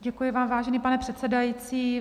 Děkuji vám, vážený pane předsedající.